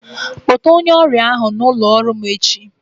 Kpọta onye ọrịa ahụ n'ụlọ ọrụ m echi.